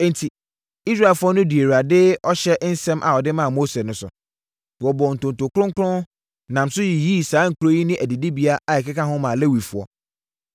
Enti, Israelfoɔ no dii Awurade ɔhyɛ nsɛm a ɔde maa Mose no so. Wɔbɔɔ ntonto kronkron, nam so yiyii saa nkuro yi ne adidibea a ɛkeka ho maa Lewifoɔ.